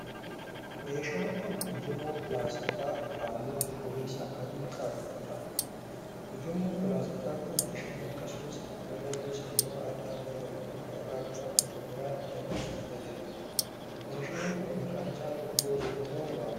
Meeshaan kun, ujummoo pilaastikaa haalluu cuquliisa adii qabuu dha. Ujummoon pilaastikaa kun bishaan akkasumas dhangala'oo gosa biroo adda addaa bakka tokko irraa gara bakka biraatti dabarsuuf fayyada. Meeshaan kun, maqaan isaa tubboo jedhamuun waamama.